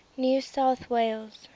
new south wales